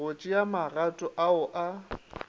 go tšea magato ao a